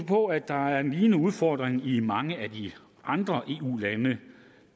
på at der er en lignende udfordring i mange af de andre eu lande